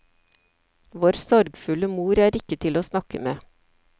Vår sorgfulle mor er ikke til å snakke med.